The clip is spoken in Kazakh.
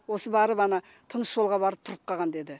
осы барып ана тыныс жолға барып тұрып қалған деді